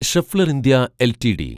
Schaeffler India LTD